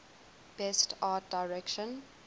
best art direction